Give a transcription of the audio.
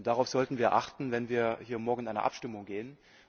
Darauf sollten wir achten, wenn wir hier morgen in die Abstimmung gehen.